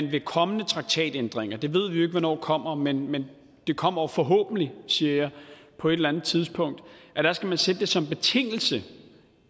ved kommende traktatændringer dem ved vi ikke hvornår kommer men men de kommer forhåbentlig siger jeg på et eller andet tidspunkt skal man sætte det som betingelse